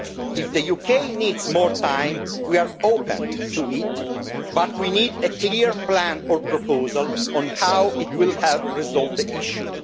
If the UK needs more time, we are open to it, but we need a clear plan or proposal on how it will help resolve the issue.